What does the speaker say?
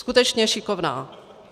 Skutečně šikovná.